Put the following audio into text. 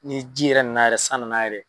Ni ji yɛrɛ nana yɛrɛ san nana yɛrɛ.